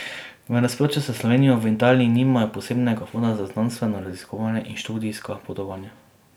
V nasprotju s Slovenijo v Italiji ni nimajo posebnega fonda za znanstveno raziskovanje in študijska potovanja.